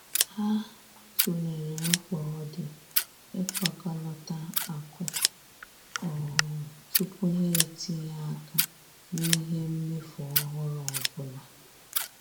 Ha tụlere mkpa ọ di ịkpakọlata akụ um tupu ha etinye aka n'ihe mmefu ọhụrụ ọbụla.